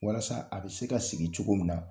Walasa a bɛ se ka sigi cogo min na.